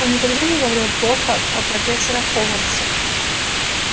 он никогда не говорил плохо о профессорах хогвартса